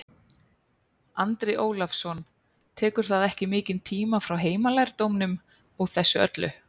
Andri Ólafsson: Tekur það ekki mikinn tíma frá heimalærdómnum og þessu öllu?